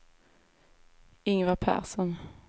Ingvar Persson